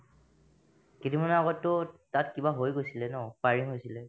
কেইদিনমানৰ আগততো তাত কিবা হৈ গৈছিলে ন firing হৈছিলে